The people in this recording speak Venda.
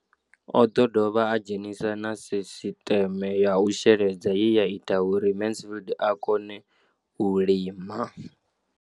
O ḓo dovha a dzhenisa na sisiṱeme ya u sheledza ye ya ita uri Mansfied a kone u lima.